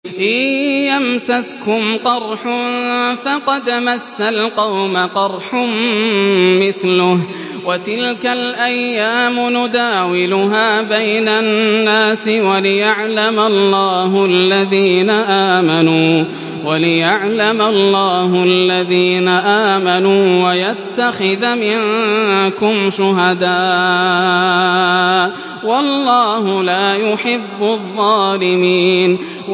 إِن يَمْسَسْكُمْ قَرْحٌ فَقَدْ مَسَّ الْقَوْمَ قَرْحٌ مِّثْلُهُ ۚ وَتِلْكَ الْأَيَّامُ نُدَاوِلُهَا بَيْنَ النَّاسِ وَلِيَعْلَمَ اللَّهُ الَّذِينَ آمَنُوا وَيَتَّخِذَ مِنكُمْ شُهَدَاءَ ۗ وَاللَّهُ لَا يُحِبُّ الظَّالِمِينَ